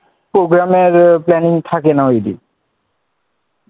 Programme এর planning থাকে না ঐ দিন,